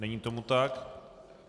Není tomu tak.